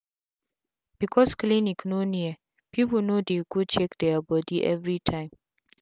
becos clinic no near pipu no dey go check dia bodi everi tym